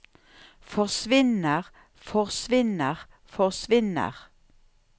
forsvinner forsvinner forsvinner